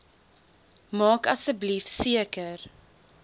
maak asseblief seker